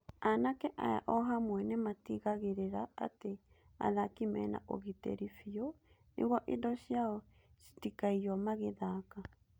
Anake aya ohamwe nĩmatigagĩrira atĩ athaki mena ũgitĩri biũ nĩguo indo ciao citikaiyo magĩthaka.